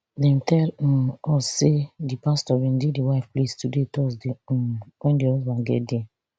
dem tell um us say di pastor bin dey di wife place today thursday um wen di husband get dia